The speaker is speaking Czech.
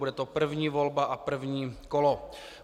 Bude to první volba a první kolo.